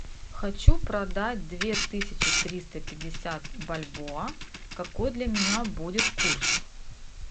хочу продать две тысячи триста пятьдесят бальбоа какой для меня будет курс